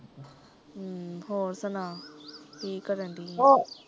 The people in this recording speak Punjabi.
ਹਮਮ ਹੋਰ ਸੁਨਾ ਕੀ ਕਰਨ ਡਈ ਐ